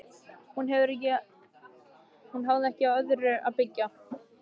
Hún hafði ekki á öðru að byggja.